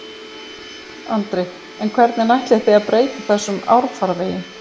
Andri: En hvernig ætlið þið að breyta þessum árfarvegi?